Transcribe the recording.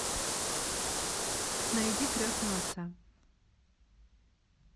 найди крестного отца